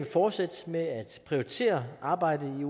fortsætte med at prioritere arbejdet